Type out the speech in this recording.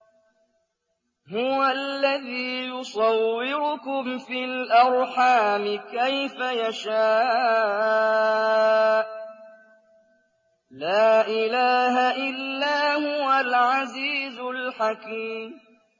هُوَ الَّذِي يُصَوِّرُكُمْ فِي الْأَرْحَامِ كَيْفَ يَشَاءُ ۚ لَا إِلَٰهَ إِلَّا هُوَ الْعَزِيزُ الْحَكِيمُ